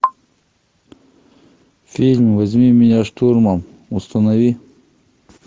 фильм возьми меня штурмом установи